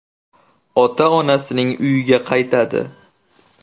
ota-onasining uyiga qaytadi.